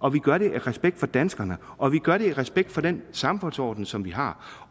og vi gør det af respekt for danskerne og vi gør det af respekt for den samfundsorden som vi har